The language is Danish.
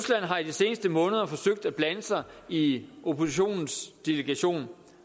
har i de seneste måneder forsøgt at blande sig i oppositionens delegation